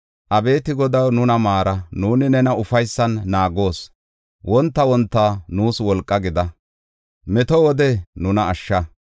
Abeeti Godaw, nuna maara; nuuni nena ufaysan naagoos; wonta wonta nuus wolqa gida; meto wode nuna ashsha.